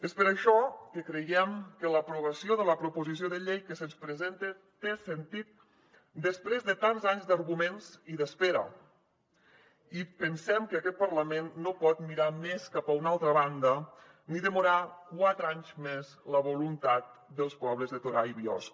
és per això que creiem que l’aprovació de la proposició de llei que se’ns presenta té sentit després de tants anys d’arguments i d’espera i pensem que aquest parlament no pot mirar més cap a una altra banda ni demorar quatre anys més la voluntat dels pobles de torà i biosca